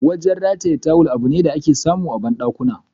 Wajen rataye tawul, abune da ake samu a bandakuna.